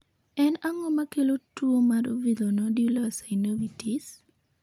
En ang'o makelo tuwo mar villonodular synovitis?